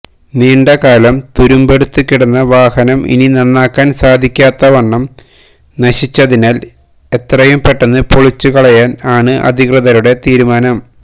നീണ്ട കാലം തുരുമ്പെടുത്ത് കിടന്ന വാഹനം ഇനി നന്നാക്കാന് സാധിക്കാത്തവണ്ണം നശിച്ചതിനാല് എത്രയും പെട്ടെന്ന് പൊളിച്ചുകളയാന് ആണ് അധികൃതരുടെ തീരുമാനം